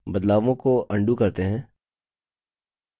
बदलावों को अन्डू करते हैं